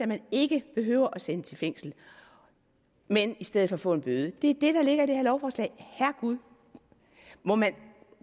man ikke behøver sendt i fængsel men i stedet for kan få en bøde det er det der ligger i det her lovforslag herregud